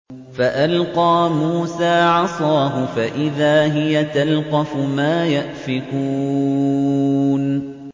فَأَلْقَىٰ مُوسَىٰ عَصَاهُ فَإِذَا هِيَ تَلْقَفُ مَا يَأْفِكُونَ